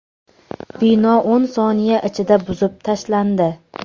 Bino o‘n soniya ichida buzib tashlandi.